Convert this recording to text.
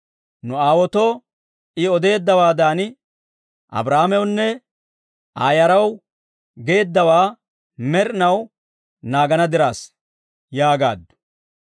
Nu aawaatoo I odeeddawaadan, Abrahaamewunne Aa yaraw geeddawaa, med'inaw naagana diraassa» yaagaaddu.